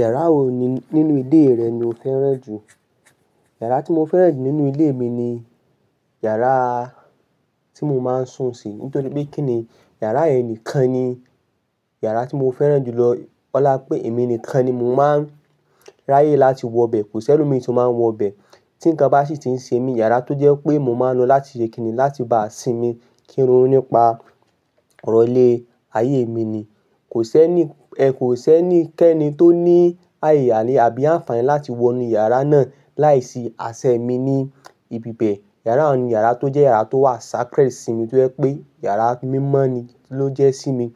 Yàrá wo nínú ilé rẹ ni o fẹ́ràn jù? Yàrá tí mo fẹ́ràn jù nínú ilé mi ni yàrá tí mo máa ń sùn sí. Nítorí pé kíni yàrá yẹn nìkan ni yàrá tí mo fẹ́ràn jù lọ. Ọlá pé èmi nìkan ni mo máa ń ráyè láti wọ bẹ. Kò sí ẹlòmí tó máa ń wọ bẹ. Tí nǹkan bá sì ti ń se mí, yàrá tó jẹ́ pé mo máa ń lo láti ṣe kíni, láti bá a sinmi, kí n ro nípa ọ̀rọ̀ ilé, ayé mi ni. Kò sẹ ni, kò sẹní kẹ́ni tó ní àyè àní àbí àǹfààní láti wọ inú yàrá náà láìsí asẹ mi ní ibi bẹ. Yàrá n ni yàrá tó jẹ́ yàrá tó wà sacred sí mi tó jẹ́ pé yàrá mímọ́ ni ló jẹ́ sí mi.